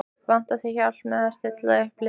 Vantar þig hjálp með að stilla upp liðið?